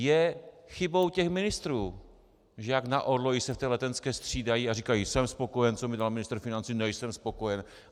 Je chybou těch ministrů, že jak na orloji se v té Letenské střídají a říkají jsem spokojen, co mi dá ministr financí, nejsem spokojen...